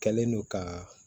Kɛlen don ka